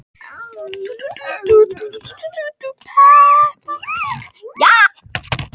Hrund: Ætlið þið að keppa?